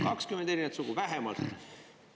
20 erinevat sugu vähemalt!